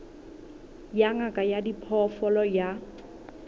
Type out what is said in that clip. ya ngaka ya diphoofolo ya